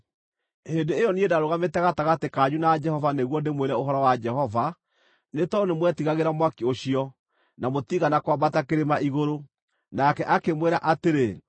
(Hĩndĩ ĩyo niĩ ndarũgamĩte gatagatĩ kanyu na Jehova nĩguo ndĩmwĩre ũhoro wa Jehova, nĩ tondũ nĩmwetigagĩra mwaki ũcio, na mũtiigana kwambata kĩrĩma igũrũ.) Nake akĩmwĩra atĩrĩ: